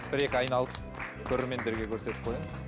бір екі айналып көрермендерге көрсетіп қойыңыз